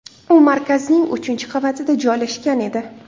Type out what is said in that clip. U markazning uchinchi qavatida joylashgan edi.